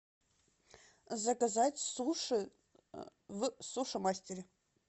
заказать суши в суши мастере